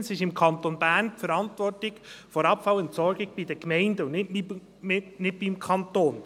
Zweitens ist im Kanton Bern die Verantwortung der Abfallentsorgung bei den Gemeinden und nicht beim Kanton.